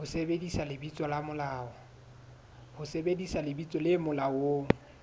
ho sebedisa lebitso le molaong